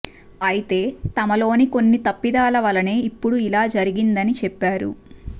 అయితే తమలోని కొన్ని తప్పిదాల వలనే ఇప్పుడు ఇలా జరిగిందని చెప్పారు